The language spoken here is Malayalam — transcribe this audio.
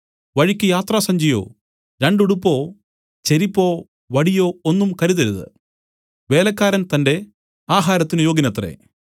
വഴിക്ക് യാത്രാസഞ്ചിയോ രണ്ടു ഉടുപ്പോ ചെരിപ്പോ വടിയോ ഒന്നും കരുതരുത് വേലക്കാരൻ തന്റെ ആഹാരത്തിന് യോഗ്യനത്രെ